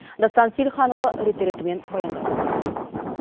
дастан сейілханұлы рет ретімен баяндалсын